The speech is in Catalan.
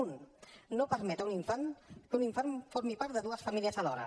un no permet que un infant formi part de dues famílies alhora